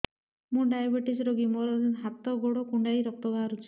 ମୁ ଡାଏବେଟିସ ରୋଗୀ ମୋର ହାତ ଗୋଡ଼ କୁଣ୍ଡାଇ ରକ୍ତ ବାହାରୁଚି